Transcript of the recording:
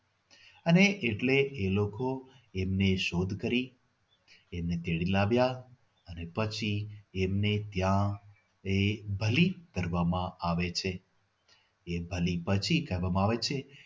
અને એટલે એ લોકો એમની શોધ કરી એને તેડી લાવ્યા અને પછી એમને ત્યાં એ એક બલી કરવામાં આવે છે એ બલી પછી કરવામાં આવે છે.